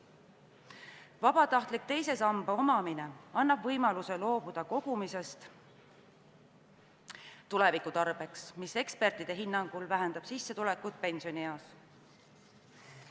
Vabatahtlik teise samba omamine annab võimaluse loobuda kogumisest tuleviku tarbeks, mis ekspertide hinnangul vähendab sissetulekut pensionieas.